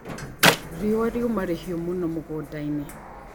Riũa riuma rĩhiũ mũno mũgũndainĩ.